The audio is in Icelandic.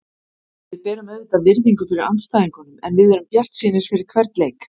Við berum auðvitað virðingu fyrir andstæðingunum en við erum bjartsýnir fyrir hvern leik.